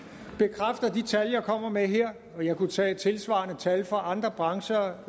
det tal jeg kommer med her og jeg kunne tage tilsvarende tal fra andre brancher